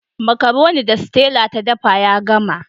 Makaroni da Stella ta dafa ya gama.